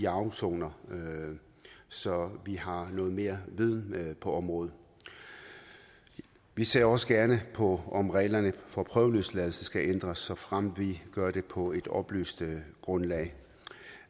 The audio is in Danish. afsoner så vi har noget mere viden på området vi ser også gerne på om reglerne for prøveløsladelse skal ændres såfremt vi gør det på et oplyst grundlag